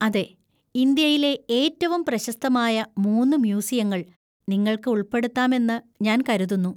അതെ! ഇന്ത്യയിലെ ഏറ്റവും പ്രശസ്തമായ മൂന്ന് മ്യൂസിയങ്ങൾ നിങ്ങൾക്ക് ഉൾപ്പെടുത്താമെന്ന് ഞാൻ കരുതുന്നു.